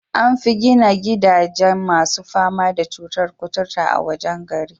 An fi gina gidajen masu fama da cutur kuturta a wajen gari.